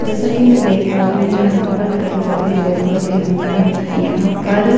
जैसा कि मैं देख पा रही हूँ यहाँ पर कई सारे लोग खड़े हुए है यहाँ पर --